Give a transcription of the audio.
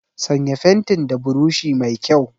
Sanya fentin da burushi mai kyau!